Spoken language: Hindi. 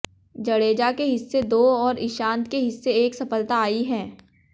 जडेजा के हिस्से दो और ईशांत के हिस्से एक सफलता आई है